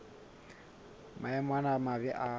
maemo ana a mabe a